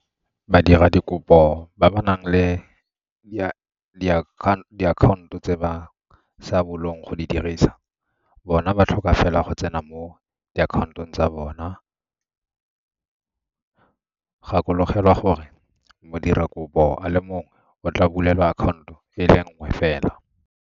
Badiradikopo ba ba nang le diakhaonto tse ba sa bolong go di dirisa bona ba tlhoka fela go tsena mo diakhaontong tsa bona gakologelwa gore modirakopo a le mongwe o tla bulelwa akhaonto e le nngwe fela.